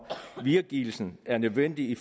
videregivelsen er nødvendig